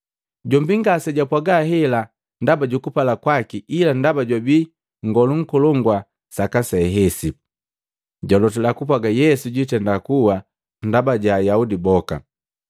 Jombi ngasejwapwaga hela ndaba jukupala kwaki ila ndaba jwabii Nngolu Nkolongu saka se hesi, jwalotila kupwaga Yesu jwitenda kuwa ndaba ja Ayaudi boka,